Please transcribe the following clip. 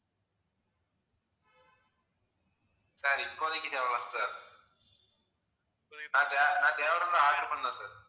sir இப்போதைக்கு தேவை இல்லங்க sir நான் தேவை இருந்தா order பண்றேன் sir